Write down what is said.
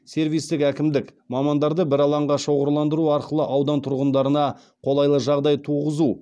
сервистік әкімдік мамандарды бір алаңға шоғырландыру арқылы аудан тұрғындарына қолайлы жағдай туғызу